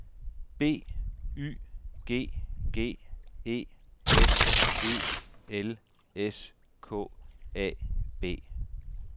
B Y G G E S E L S K A B